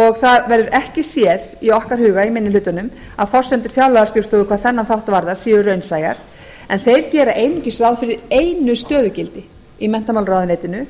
og það verður ekki séð í okkar huga í minni hlutanum að forsendur fjárlagaskrifstofu hvað þennan þátt varðar séu raunsæjar en þeir gera einungis ráð fyrir einu stöðugildi í menntamálaráðuneytinu